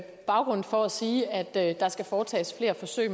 baggrund for at sige at der skal foretages flere forsøg